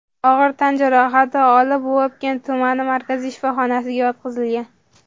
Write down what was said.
og‘ir tan jarohati olib, Vobkent tuman markaziy shifoxonasiga yotqizilgan.